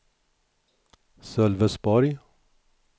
Sölvesborg